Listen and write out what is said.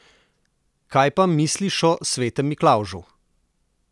Kaj pa misliš o svetem Miklavžu?